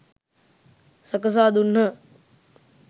සකසා දුන්හ.